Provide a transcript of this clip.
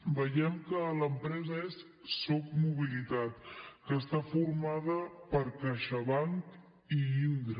veiem que l’empresa és socmobilitat que està formada per caixabank i indra